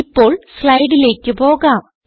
ഇപ്പോൾ സ്ലൈഡിലേക്ക് പോകാം